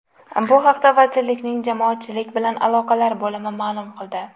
Bu haqda vazirlikning Jamoatchilik bilan aloqalar bo‘limi ma’lum qildi.